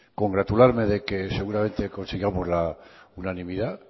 congratularme de que seguramente consigamos la unanimidad